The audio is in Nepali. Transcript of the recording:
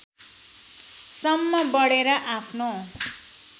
सम्म बढेर आफ्नो